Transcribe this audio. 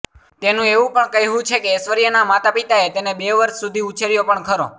તેનું એવું પણ કહેવું છે કે ઐશ્વર્યાના માતાપિતાએ તેને બે વર્ષ સુધી ઉછેર્યો પણ ખરો